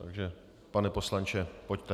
Takže pane poslanče, pojďte.